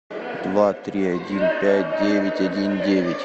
два три один пять девять один девять